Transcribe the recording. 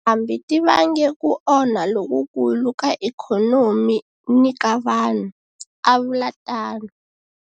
Tindhambi ti vange ku onha lokukulu ka ikhonomi ni ka vanhu, a vula tano.